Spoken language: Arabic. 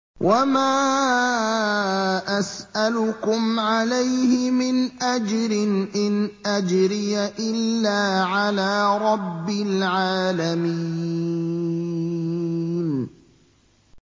وَمَا أَسْأَلُكُمْ عَلَيْهِ مِنْ أَجْرٍ ۖ إِنْ أَجْرِيَ إِلَّا عَلَىٰ رَبِّ الْعَالَمِينَ